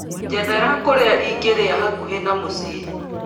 njethera kũrĩa ingĩrĩa hakuhĩ na mũciĩ